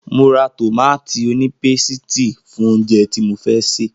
Mo ra tòmátì onípésìtì fún oúnjẹ tí mo fẹ́ sè.